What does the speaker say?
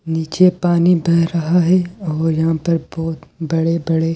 नीचे पानी बह रहा है और यहां पर बहुत बड़े-बड़े ।